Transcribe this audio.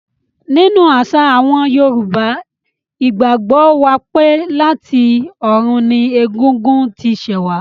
Nínú àṣà àwọn Yorùbá, ìgbàgbọ́ wà pé láti ọ̀run ni Ègún ún ti ṣẹ̀ wá.